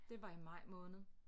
Det var i maj måned